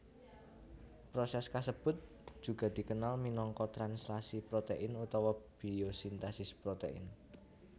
Proses kasebut juga dikenal minangka translasi protein utawa biosintesis protein